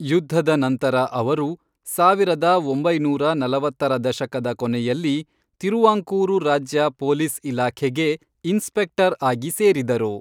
ಯುದ್ಧದ ನಂತರ ಅವರು ಸಾವಿರದ ಒಂಬೈನೂರ ನಲವತ್ತರ ದಶಕದ ಕೊನೆಯಲ್ಲಿ ತಿರುವಾಂಕೂರು ರಾಜ್ಯ ಪೊಲೀಸ್ ಇಲಾಖೆಗೆ ಇನ್ಸ್ಪೆಕ್ಟರ್ ಆಗಿ ಸೇರಿದರು.